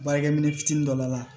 Baarakɛ minɛ fitinin dɔ b'a la